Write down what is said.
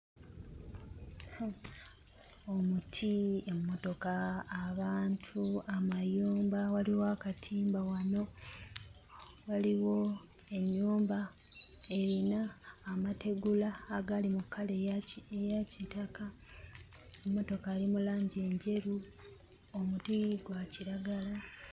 Omuti, emmotoka, abantu, amayumba, waliwo akatimba wano, waliwo ennyumba erina amategula agali mu kkala eya kitaka, emmotoka eri mu langi njeru, omuti gwa kiragala.